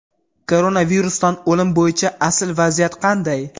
Koronavirusdan o‘lim bo‘yicha asl vaziyat qanday?.